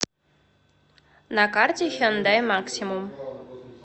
на карте хендай максимум